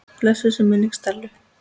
Blessuð sé minning Stellu.